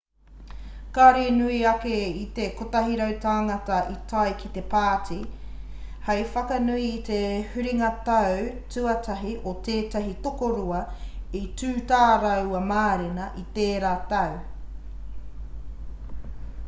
kāore i nui ake i te 100 tāngata i tae ki te pāti hei whakanui i te huringa tau tuatahi o tētahi tokorua i tū tā rāua mārena i tērā tau